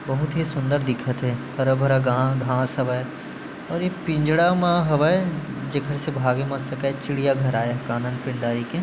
बहुत ही सुंदर दिखथे हरा - भरा गा घास हवय अउ ये पिंजरा म हवय जेकर से भागे न सकय चिड़ियाघर आय हन कानन पिंडारी के --